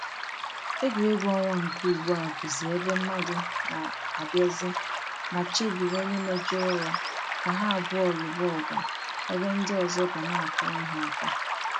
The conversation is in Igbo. Egwuregwu ọnwa nke ugbua bụzị ebe mmadụ na-abịazị ma chebiri onye mejọrọ ya ka ha abụọ lụba ọgụ ebe ndị ọzọ ga na-akụrụ ha aka.